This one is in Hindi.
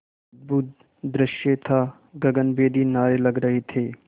अद्भुत दृश्य था गगनभेदी नारे लग रहे थे